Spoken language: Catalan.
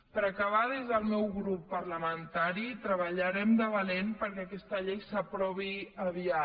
per acabar des del meu grup parlamentari treballarem de valent perquè aquesta llei s’aprovi aviat